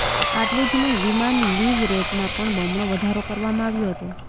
આટલુ જ નહીં વિમાન લીજ રેટમાં પણ બમણો વધારો કરવામાં આવ્યો હતો